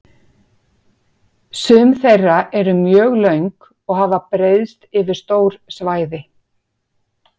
Sum þeirra eru mjög löng og hafa breiðst yfir stór svæði.